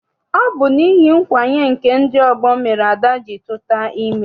Ọ bụ n'ihi nkwanye nke ndị ọgbọ mere Ada ji tuta ime.